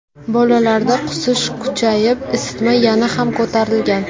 Bolalarda qusish kuchayib, isitma yana ham ko‘tarilgan.